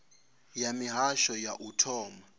ya mihasho ya u thoma